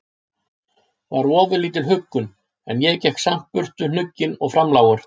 var ofurlítil huggun, en ég gekk samt burt hnugginn og framlágur.